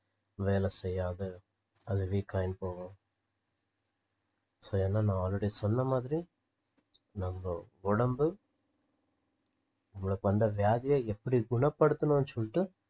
வேலைசெய்யாது அது weak ஆயினு போகும் so என்ன நான் already சொன்னமாதிரி நம்ப உடம்பு நம்மளுக்கு வந்த வியாதிய எப்படி குணப்படுத்தணும்னு சொல்லிட்டு